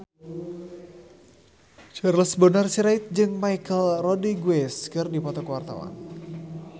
Charles Bonar Sirait jeung Michelle Rodriguez keur dipoto ku wartawan